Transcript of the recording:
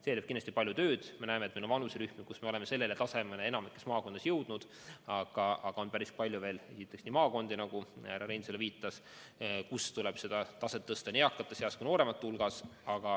See nõuab kindlasti palju tööd, sest me näeme, et meil on vanuserühmi, kus me oleme sellele tasemele enamikus maakondades jõudnud, aga on veel päris palju maakondi, nagu ka härra Reinsalu viitas, kus tuleb seda taset tõsta nii eakate seas kui ka nooremate hulgas.